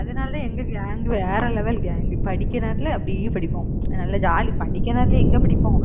அதனாலதான், எங்க gang வேற level gang படிக்கிற நேரத்துல அப்படியே படிப்போம். நல்ல jolly படிக்கிற நேரத்துல எங்க படிப்போம்?